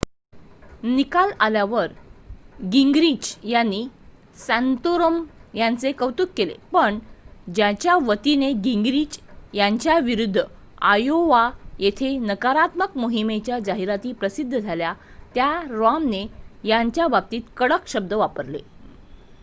निकाल आल्यावर गिंगरिच यांनी सॅन्तोरम यांचे कौतुक केले पण ज्यांच्या वतीने गिंगरिच यांच्याविरुध्द आयोवा येथे नकारात्मक मोहिमेच्या जाहिराती प्रसारित झाल्या त्या रॉमने यांच्या बाबतीत कडक शब्द वापरले